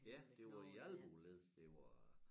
Ja det var i æ albueled det var